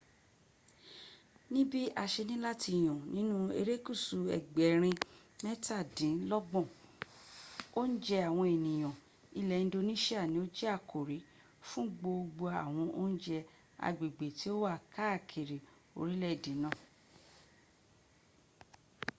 níbí a se ní láti yàn nínú erékùsù ẹgbẹ̀rín mẹ́tàdínlọ́gbọ̀n oúnjẹ àwọn ènìyàn ilẹ̀ indonisia ni ó jẹ́ àkórí fún gbogbo àwọn oúnjẹ agbèaè tí ó wà káakkiri orílẹ̀èdè náà